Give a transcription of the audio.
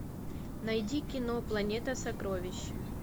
найди кино планета сокровищ